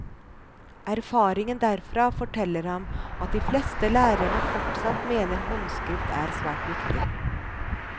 Erfaringen derfra forteller ham at de fleste lærerne fortsatt mener håndskrift er svært viktig.